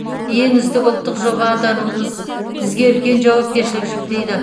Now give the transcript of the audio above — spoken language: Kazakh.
ең үздік ұлттық жоба атануымыз бізге үлкен жауапкершілік жүктейді